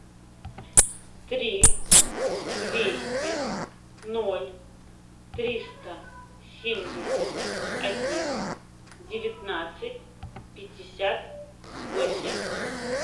три двести ноль триста семьдесят один девятнадцать пятьдесят восемь